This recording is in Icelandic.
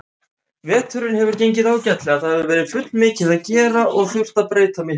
Veturinn hefur gengið ágætlega, það hefur verið fullmikið að gera og þurft að breyta miklu.